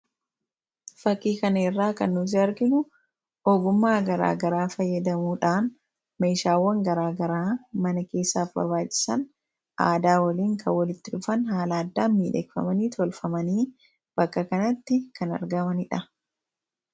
Fakii kana irraa kan nuti arginu ogummaa garaagaraa fayyadamuudhaan meeshaawwan garaagaraa mana keessaa aadaa waliin kan walitti dhufan haala addaan miidhagee kan tolfamanii bakka kanatti kan argamaniidha.